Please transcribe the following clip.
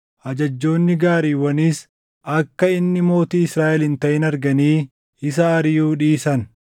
ajajjoonni gaariiwwaniis akka inni mootii Israaʼel hin taʼin arganii isa ariʼuu dhiisan.